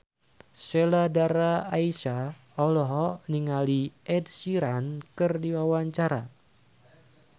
Sheila Dara Aisha olohok ningali Ed Sheeran keur diwawancara